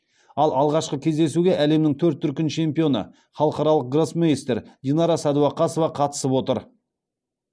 ал алғашқы кездесуге әлемнің төрт дүркін чемпионы халықаралық гроссмейстер динара сәдуақасова қатысып отыр